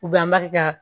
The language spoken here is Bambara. U bɛnbali ka